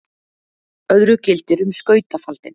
öðru gildir um skautafaldinn